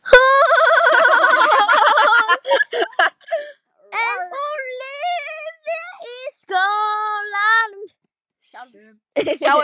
En hún lifði í skólanum sjálfum.